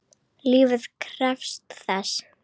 Lífið krefst þess.